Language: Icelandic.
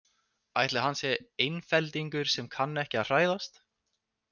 Ætli hann sé einfeldingur sem kann ekki að hræðast?